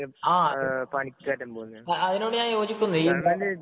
ആ, അതിനോട് ഞാന്‍ യോജിക്കുന്നു.